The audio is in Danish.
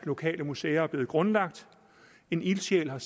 lokale museer er blevet grundlagt en ildsjæl har